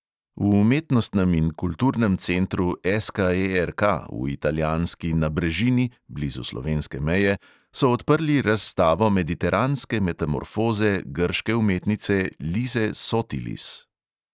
V umetnostnem in kulturnem centru SKERK v italijanski nabrežini blizu slovenske meje so odprli razstavo mediteranske metamorfoze grške umetnice lise sotilis.